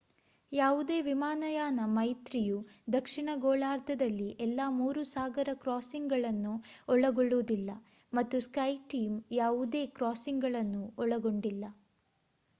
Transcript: ಯಾವುದೇ ವಿಮಾನಯಾನ ಮೈತ್ರಿಯು ದಕ್ಷಿಣ ಗೋಳಾರ್ಧದಲ್ಲಿ ಎಲ್ಲಾ ಮೂರು ಸಾಗರ ಕ್ರಾಸಿಂಗ್‌ಗಳನ್ನು ಒಳಗೊಳ್ಳುವುದಿಲ್ಲ ಮತ್ತು ಸ್ಕೈಟೀಮ್ ಯಾವುದೇ ಕ್ರಾಸಿಂಗ್‌ಗಳನ್ನು ಒಳಗೊಂಡಿಲ್ಲ